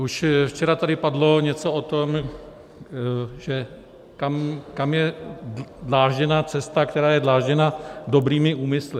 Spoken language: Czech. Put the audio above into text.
Už včera tady padlo něco o tom, že kam je dlážděná cesta, která je dlážděna dobrými úmysly.